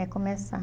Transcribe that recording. começar.